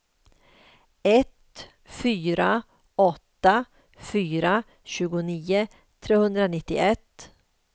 ett fyra åtta fyra tjugonio trehundranittioett